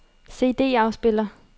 CD-afspiller